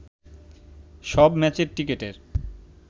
সব ম্যাচের টিকেটের